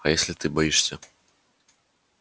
а если ты боишься